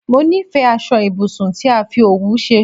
Mó nifẹ aṣọ ibùsùn tí a fi òwú ṣe